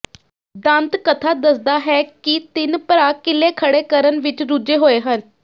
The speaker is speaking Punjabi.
ਦੰਤਕਥਾ ਦੱਸਦਾ ਹੈ ਕਿ ਤਿੰਨ ਭਰਾ ਕਿਲ੍ਹੇ ਖੜ੍ਹੇ ਕਰਨ ਵਿਚ ਰੁੱਝੇ ਹੋਏ ਸਨ